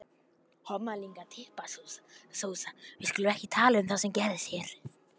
Bryndís Hólm: Strákar, hvað eru þið að elda?